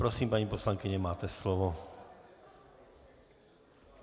Prosím, paní poslankyně, máte slovo.